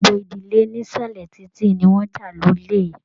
Gbogbo ìdílé nísàlẹ̀ titi ní wọn já lólè m